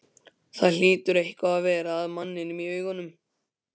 Það hlýtur eitthvað að vera að manninum í augunum.